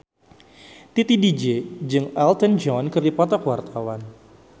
Titi DJ jeung Elton John keur dipoto ku wartawan